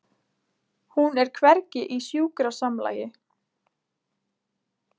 Hún er hvergi í sjúkrasamlagi.